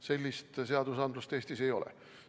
Selliseid seadusi Eestis ei ole.